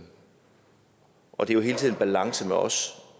balance for os